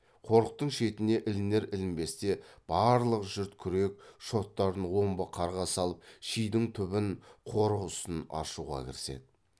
қорықтың шетіне ілінер ілінбесте барлық жұрт күрек шоттарын омбы қарға салып шидің түбін қорық үсін аршуға кіріседі